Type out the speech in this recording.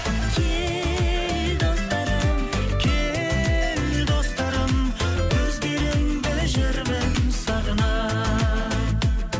кел достарым кел достарым өздеріңді жүрмін сағына